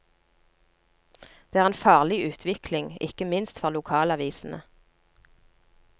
Det er en farlig utvikling, ikke minst for lokalavisene.